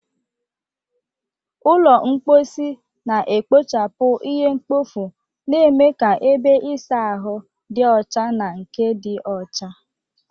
Ụlọ mposi na-ekpochapụ ihe mkpofu, na-eme ka ebe ịsa ahụ dị ọcha na nke dị ọcha.